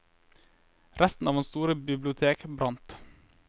Resten av hans store bibliotek brant.